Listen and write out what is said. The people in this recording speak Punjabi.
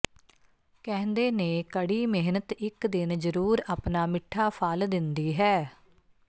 ਕਹਿੰਦੇ ਨੇ ਕੜੀ ਮਿਹਨਤ ਇੱਕ ਦਿਨ ਜਰੂਰ ਆਪਣਾ ਮਿੱਠਾ ਫਲ ਦਿੰਦੀ ਹੈ